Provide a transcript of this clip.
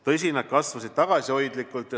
Tõsi, nad kasvasid tagasihoidlikult.